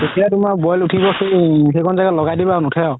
তেতিয়া তুমাৰ বইল উথিব সেইখন জেগাত লগাই দিবা নোথে আৰু